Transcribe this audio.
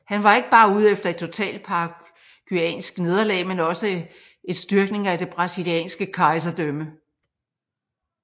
Han var ikke bare ude efter et totalt paraguayansk nederlag men også et styrkning af det brasilianske kejserdømme